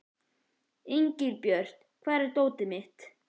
Engilbjört, hvar er dótið mitt?